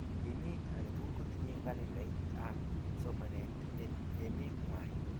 emet aketukul kotinye kalendait ab somanee en emee ngwany